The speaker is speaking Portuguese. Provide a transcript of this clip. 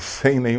Sem nenhum